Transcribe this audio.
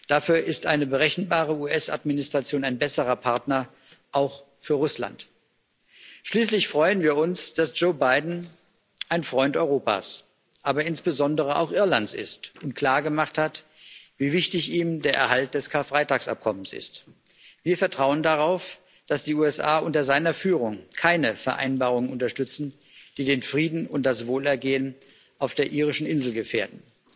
Dafür ist eine berechenbare US Administration ein besserer Partner, auch für Russland. Schließlich freuen wir uns, dass Joe Biden ein Freund Europas, aber insbesondere auch Irlands ist und klargemacht hat, wie wichtig ihm der Erhalt des Karfreitagsabkommens ist. Wir vertrauen darauf, dass die USA unter seiner Führung keine Vereinbarung unterstützen, die den Frieden und das Wohlergehen auf der irischen Insel gefährdet.